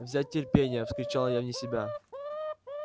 взять терпение вскричал я вне себя